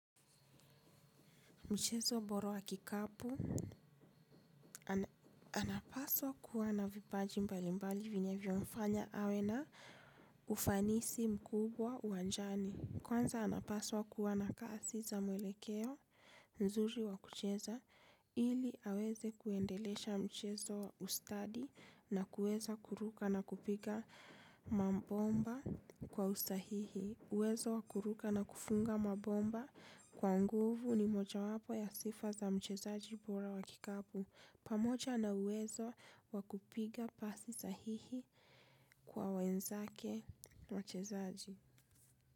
Mchezo bora wa kikapu, anapaswa kuwa na vipaji mbalimbali vinyavyomfanya awe na ufanisi mkubwa uwanjani. Kwanza anapaswa kuwa na kasi za mwelekeo, nzuri wa kucheza, ili aweze kuendelesha mchezo ustadi na kuweza kuruka na kupiga mambomba kwa usahihi. Uwezo wa kuruka na kufunga mabomba kwa nguvu ni mojawapo ya sifa za mchezaji bora wa kikapu. Pamoja na uwezo wa kupiga pasi sahihi kwa wenzake mchezaji.